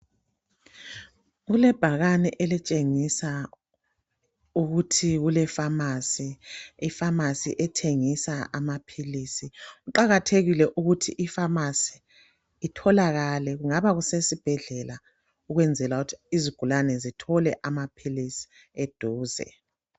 kuöebhakane elitshengisa ukuthi kule phamarcy i phamarcy ethengisa amaphilisi kuqakathekile ukuthi i phamarcy itholakale kungaba kusesibhedlela ukwenzela ukuthi izigulane zithole amaphilisi eduze